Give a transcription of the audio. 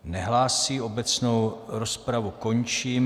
Nehlásí, obecnou rozpravu končím.